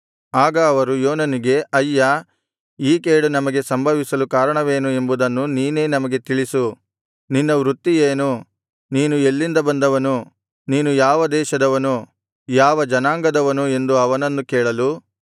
ಆಗ ಅವರು ಯೋನನಿಗೆ ಅಯ್ಯಾ ಈ ಕೇಡು ನಮಗೆ ಸಂಭವಿಸಲು ಕಾರಣವೇನು ಎಂಬುದನ್ನು ನೀನೇ ನಮಗೆ ತಿಳಿಸು ನಿನ್ನ ವೃತ್ತಿ ಏನು ನೀನು ಎಲ್ಲಿಂದ ಬಂದವನು ನೀನು ಯಾವ ದೇಶದವನು ಯಾವ ಜನಾಂಗದವನು ಎಂದು ಅವನನ್ನು ಕೇಳಲು